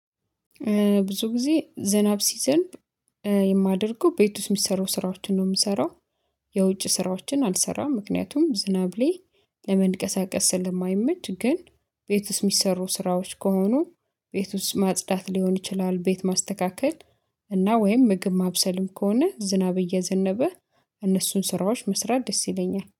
ብዙ ጊዜ ዝናብ ሲዘንብ የማደርገው ቤት ውስጥ ሚሰሩ ስራዎችን ነው የምሰራው። የውጭ ስራዎችን አልሰራም ምክንያቱም ዝናብ ላይ ለመንቀሳቀስ ስለማይመች። ግን ቤት ውስጥ የሚሰሩ ስራዎች ከሆኑ ቤት ውስጥ ማጽዳት ሊሆን ይችላል ቤት ማስተካከል እና ወይም ምግብ ማብሰልም ከሆነ ዝናብ እየዘነበ እነሱን ስራዎች መስራት ደስ ይለኛል